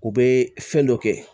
U bɛ fɛn dɔ kɛ